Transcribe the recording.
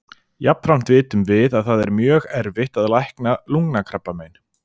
Jafnframt vitum við að það er mjög erfitt að lækna lungnakrabbamein.